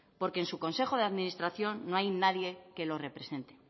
porque en su consejo de administración no hay nadie que lo represente